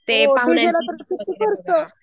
खर्च